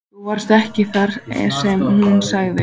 Þú varst ekki þar einsog hún sagði.